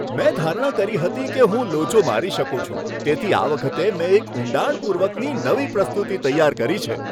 મેં ધારણા કરી હતી કે હું લોચો મારી શકું છું, તેથી આ વખતે મેં એક ઊંડાણપૂર્વકની નવી પ્રસ્તુતિ તૈયાર કરી છે.